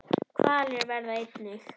Hvalir verða einnig